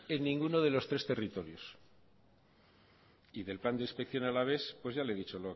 en ninguno de los tres territorios y del plan de inspección alavés pues ya le ha dicho